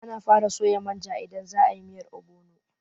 Ana fara soya manja idan za a yi miyar ogbono.